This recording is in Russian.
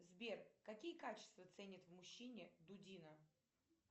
сбер какие качества ценят в мужчине дудина